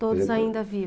Todos ainda